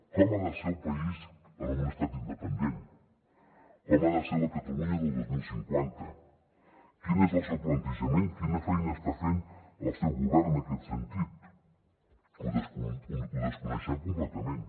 com ha de ser el país en un estat independent com ha de ser la catalunya del dos mil cinquanta quin és el seu plantejament quina feina està fent el seu govern en aquest sentit ho desconeixem completament